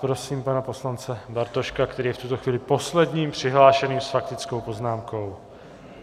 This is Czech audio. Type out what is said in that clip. Prosím pana poslance Bartoška, který je v tuto chvíli posledním přihlášeným s faktickou poznámkou.